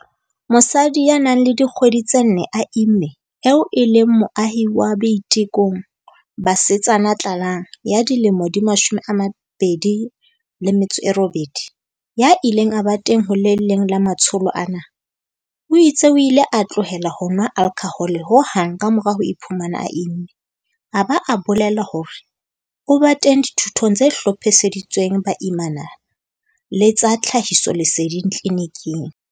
Mosadi ya nang le dikgwedi tse nne a imme eo e leng moahi wa Boitekong, Basetsana Tlalang, ya dilemo di 28, ya ileng a ba teng ho le leng la matsholo ana, o itse o ile a tlohela ho nwa alkhohole ho hang ka mora ho iphumana a imme, a ba a bolela hore o ba teng dithutong tse hlophiseditsweng baimana le tsa tlhahisoleseding tliliniking.